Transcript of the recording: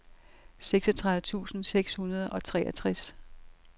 seksogtredive tusind seks hundrede og treogtres